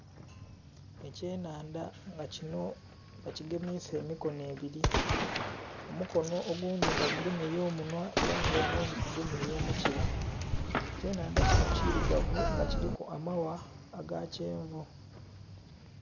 Ekye nhandha nga kinho baki gemeisa emikonho ebiri, omukonho oghundhi nga gugemye ku munhwa oghundhi ku mukila, ekye nhandha kinho kirugavu nag kiliku amagha aga kyenvu